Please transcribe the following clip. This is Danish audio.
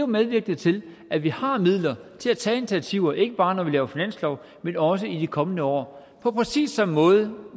medvirkende til at vi har midler til at tage initiativer ikke bare når vi laver finanslov men også i de kommende år på præcis samme måde